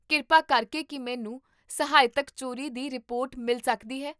ਕਿਰਪਾ ਕਰਕੇ ਕੀ ਮੈਨੂੰ ਸਾਹਿਤਕ ਚੋਰੀ ਦੀ ਰਿਪੋਰਟ ਮਿਲ ਸਕਦੀ ਹੈ?